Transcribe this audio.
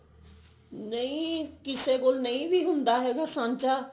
ਨਹੀਂ ਕਿਸੇ ਕੋਲ ਨਹੀਂ ਵੀ ਹੁੰਦਾ ਹੋਣ ਅਸੰਚਾ